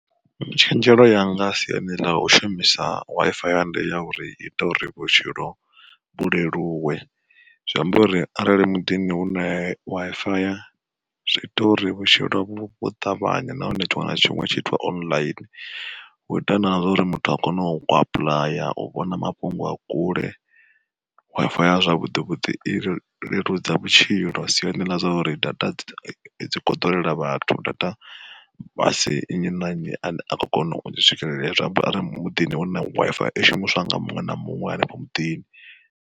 Tshenzhelo yanga siani ḽa u shumisa Wi-Fi ya ndi ya uri iita uri vhutshilo vhu leluwe. Zwi amba uri arali muḓini hu na Wi-Fi ya zwi ita uri vhutshilo vhu ṱavhanya nahone tshiṅwe na tshiṅwe tshi itwe online, u ita na zwa uri muthu a kone u apuḽaya, u vhona mafhungo a kule. Wi-Fi ya zwavhuḓi vhuḓi i leludza vhutshilo siani ḽa zwa uri data dzi khou ḓurela vhathu data asi nnyi na nnyi ane a kho kona u swikelela, zwi amba uri muḓini hu na Wi-Fi i shumiswa nga muṅwe na muṅwe hanefho muḓini.